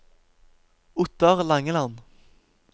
Ottar Langeland